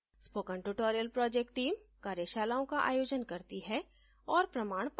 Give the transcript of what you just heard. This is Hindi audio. spoken tutorial project team कार्यशालाओं का आयोजन करती है और प्रमाणपत्र देती है